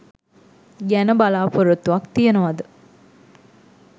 ගැන බලා‍පොරොත්තුවක් තියෙනවාද?